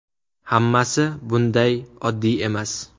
Hammasi bunday oddiy emas.